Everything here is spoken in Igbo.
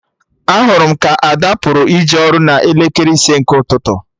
Ahụrụ m ka Ada pụrụ ije ọrụ n'elekere ise nke ụtụtụ